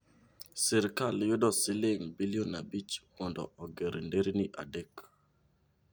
Sirkal yudo siling' bilion abich mondo oger nderni adek.